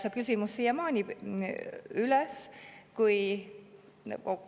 See küsimus on siiamaani üleval.